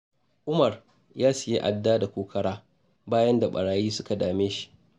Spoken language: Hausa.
Umar ya sayi adda da kokara, bayan da ɓarayi suka dame shi.